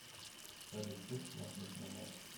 салют хочешь махнуть на марс